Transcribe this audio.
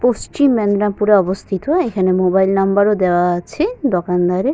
পশ্চিম মেদনাপুরে অবস্থিত এখানে মোবাইল নাম্বার ও দেওয়া আছে দোকানদারের।